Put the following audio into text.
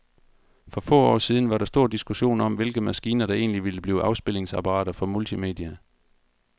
For få år siden var der stor diskussion om, hvilke maskiner, der egentlig ville blive afspilningsapparater for multimedia.